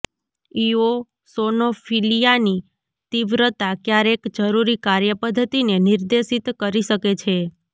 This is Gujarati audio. ઇઓસોનોફીલિયાની તીવ્રતા ક્યારેક જરૂરી કાર્યપદ્ધતિને નિર્દેશિત કરી શકે છે